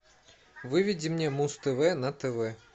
выведи мне муз тв на тв